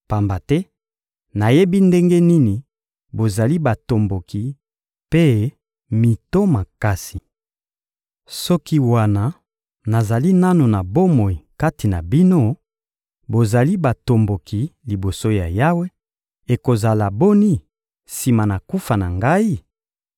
Pamba te nayebi ndenge nini bozali batomboki mpe mito makasi. Soki, wana nazali nanu na bomoi kati na bino, bozali batomboki liboso ya Yawe, ekozala boni sima na kufa na ngai?